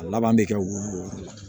A laban bɛ kɛ wo